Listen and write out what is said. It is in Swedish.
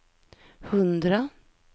hundra